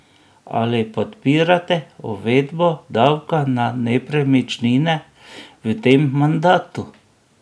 Ali podpirate uvedbo davka na nepremičnine v tem mandatu?